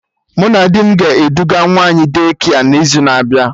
Mụ na di m ga-eduga nwa anyị De-kia n'izu na-abịa